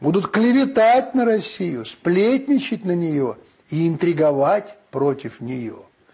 будут клеветать на россию сплетничать на нее и интриговать против нее